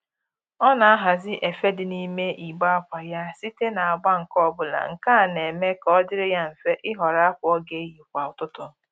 Ọ na-ahazi efe dị n'ime igbe akwa ya site n'agba nke ọbụla, nke a na-eme ka ọ dịrị ya mfe ịhọrọ akwa ọ ga-eyi kwa ụtụtụ